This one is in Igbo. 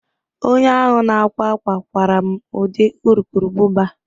Onye ahụ na-akwa akwa kwara m ụdị urukurubụba